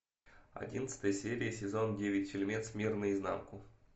одиннадцатая серия сезон девять фильмец мир наизнанку